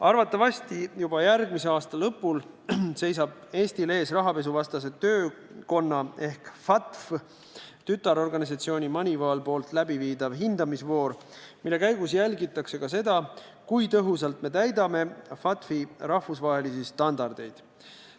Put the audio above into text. Arvatavasti juba järgmise aasta lõpul seisab Eestil ees rahapesuvastase töökonna ehk FATF-i tütarorganisatsiooni MONEYVAL läbiviidav hindamisvoor, mille käigus jälgitakse ka seda, kui tõhusalt me täidame FATF-i rahvusvahelisi standardeid.